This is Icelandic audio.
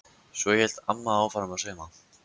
Svo hélt amma áfram að sauma.